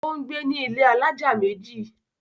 Ó ń gbé ní ilé alájà méjì.